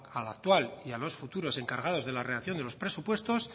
al actual y a los futuros encargados de la redacción de los presupuestos